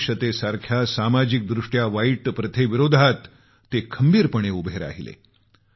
अस्पृष्यतेसारख्या सामाजिक दृष्ट्या वाईट प्रथेविरोधात ते खंबीरपणे उभे राहिले